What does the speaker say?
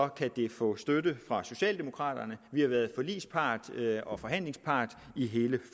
kan det få støtte fra socialdemokraterne vi har været forligspart og forhandlingspart i hele